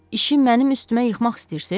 İşi mənim üstümə yıxmaq istəyirsiniz?